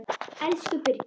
Elsku Birgir.